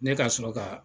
Ne ka sɔrɔ ka